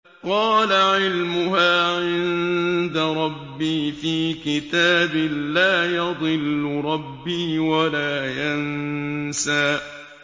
قَالَ عِلْمُهَا عِندَ رَبِّي فِي كِتَابٍ ۖ لَّا يَضِلُّ رَبِّي وَلَا يَنسَى